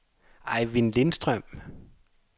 Ejvind Lindstrøm